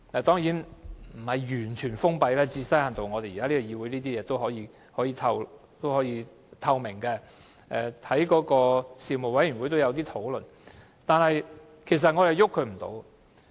當然，這並非完全封閉，因為在這個議會提出的事情，還具一定透明度，而事務委員會也有討論相關事宜。